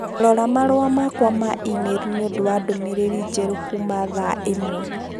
Rora marũa makwa ma e-mail nĩ ũndũ wa ndũmĩrĩri njerũ kuuma thaa ĩmwe